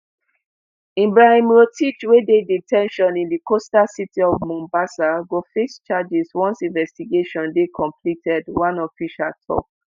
ibrahim rotich wey dey de ten tion in di coastal city of mombasa go face charges once investigations dey completed one official tok.